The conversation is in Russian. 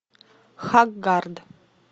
хаггард